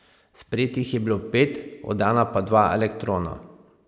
Sprejetih je bilo pet, oddana pa dva elektrona.